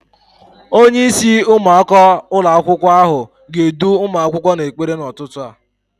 Onyeisi ụmụaka ụlọakwụkwọ ahụ ga-edu ụmụ akwụkwọ n'ekpere n'ụtụtụ a.